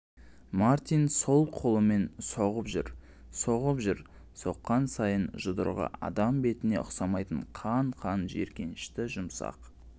мартин сол қолымен соғып жүр соғып жүр соққан сайын жұдырығы адам бетіне ұсамайтын қан-қан жиіркенішті жұмсақ